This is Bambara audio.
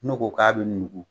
N'o ko k'a be nugu